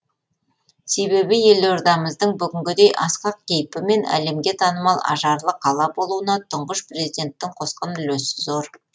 себебі елордамыздың бүгінгідей асқақ кейпі мен әлемге танымал ажарлы қала болуына тұңғыш президенттің қосқан үлесі зор